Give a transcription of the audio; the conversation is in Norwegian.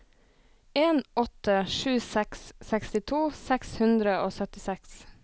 en åtte sju seks sekstito seks hundre og syttiseks